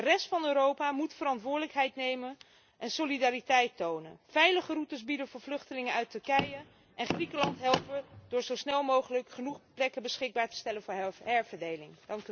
De rest van Europa moet verantwoordelijkheid nemen en solidariteit tonen veilige routes bieden voor vluchtelingen uit Turkije en Griekenland helpen door zo snel mogelijk genoeg plekken beschikbaar te stellen voor herverdeling.